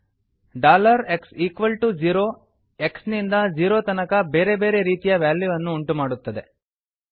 x0 dollar x equal to zero x ನಿಂದ zero ತನಕ ಬೇರೆ ಬೇರೆ ರೀತಿಯ ವ್ಯಾಲ್ಯೂವನ್ನು ಉಂಟುಮಾಡುತ್ತದೆ